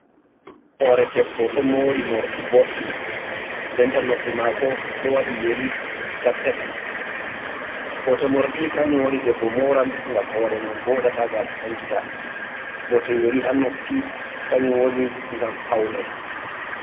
Hoore debbo ɗo moori moorɗi boɗɗi, nden ta noppi maako ɗo waɗi yeri tattaati. Bote moorɗi kannjum woni debbo mooran ngam hoore mum voɗa taa gaasa sankita, bote yeri haa noppi kannjum woni ngam pawne.